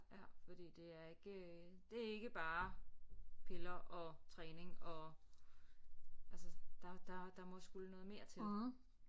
Ja fordi det er ikke det er ikke bare piller og træning og altså der der der må skulle noget mere til